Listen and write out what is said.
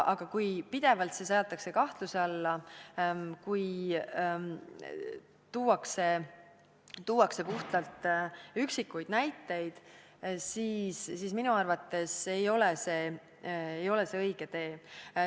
Aga kui see seatakse pidevalt kahtluse alla, kui tuuakse puhtalt üksikuid näiteid, siis minu arvates ei ole see õige tee.